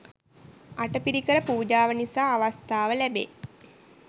අටපිරිකර පූජාව නිසා අවස්ථාව ලැබේ